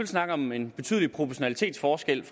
snakke om en betydelig proportionalitetsforskel